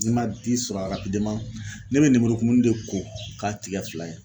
N'i man di sɔrɔ ne bɛ lemuru kumuni de ko k'a tigɛ fila ye.